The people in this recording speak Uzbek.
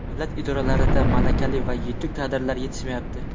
Davlat idoralarida malakali va yetuk kadrlar yetishmayapti.